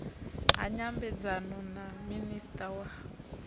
ha nyambedzano na minista wa